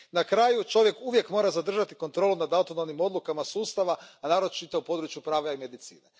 Na kraju čovjek uvijek mora zadržati kontrolu nad autonomnim odlukama sustava, a naročito u području prava i medicine.